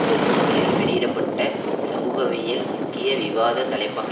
தொன்னூறுகளில் வெளியிட பட்ட சமூகவியலில் முக்கிய விவாத தலைப்பக